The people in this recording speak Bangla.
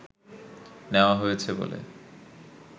নেওয়া হয়েছে বলে